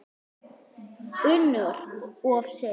UNNUR: Of seint!